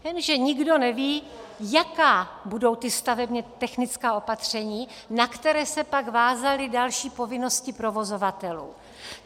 Jenže nikdo neví, jaká budou ta stavebně technická opatření, na která se pak vázaly další povinnosti provozovatelů.